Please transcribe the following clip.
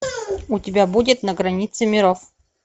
у тебя будет на границе миров